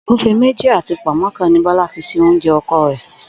Ògúfe méjì àti pò̩nmó̩ kan ni Bó̩lá fi si oúnje̩ o̩ko̩ rè̩